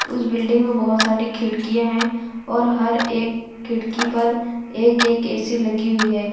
उस बिल्डिंग में बहोत सारी खिड़कियां हैं और हर एक खिड़की पर एक एक ए_सी लगी हुई है।